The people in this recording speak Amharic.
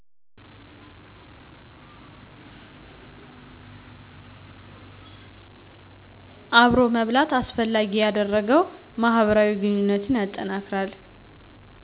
አብሮ መብላት አስፈላጊ ያደረገው ማህበራዊ ግንኙነትን ያጠናክራል